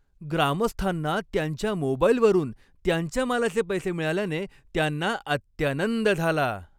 ग्रामस्थांना त्यांच्या मोबाईलवरून त्यांच्या मालाचे पैसे मिळाल्याने त्यांना अत्यानंद झाला.